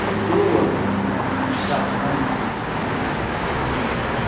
Mudou aqueles né aqueles chavões que a gente tinha de mudança né.